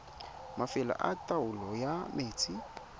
mafelo a taolo ya metsi